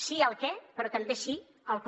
sí al què però també sí al com